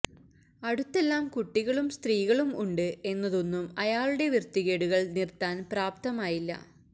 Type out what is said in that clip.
അടുത്തെല്ലാം കുട്ടികളും സ്ത്രീകളും ഉണ്ട് എന്നതൊന്നും അയാളുടെ വൃത്തികേടുകള് നിര്ത്താന് പ്രാപ്തമായില്ല